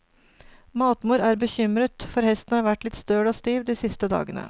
Matmor er bekymret, for hesten har vært litt støl og stiv de siste dagene.